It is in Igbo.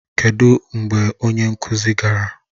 Kedụ mgbe onye nkụzi gara?